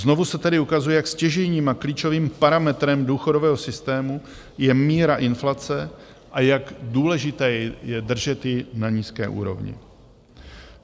Znovu se tedy ukazuje, jak stěžejním a klíčovým parametrem důchodového systému je míra inflace a jak důležité je držet ji na nízké úrovni.